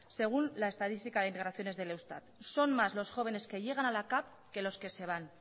según la estadística de migraciones del eustat son más los jóvenes que llegan a la cav que los que se van